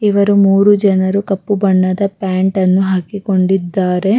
ಇವರು ಮೂರೂ ಜನರು ಕಪ್ಪು ಬಣ್ಣದ ಪ್ಯಾಂಟ್ ಅನ್ನು ಹಾಕಿಕೊಂಡಿದ್ದಾರೆ --